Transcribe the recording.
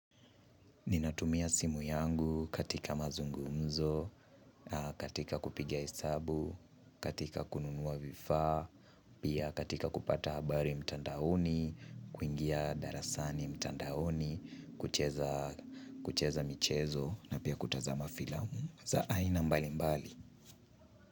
Ninatumia simu yangu katika mazungumzo, katika kupiga hesabu, katika kununua vifaa, pia katika kupata habari mtandaoni, kuingia darasani mtandaoni, kucheza kucheza michezo na pia kutazama filamu za aina mbali mbali.